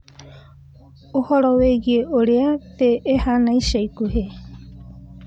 Ũhoro wĩgiĩ ũrĩa thĩ ĩhaana ica ikuhĩ